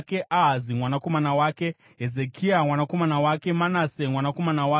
Ahazi mwanakomana wake, Hezekia mwanakomana wake, Manase mwanakomana wake,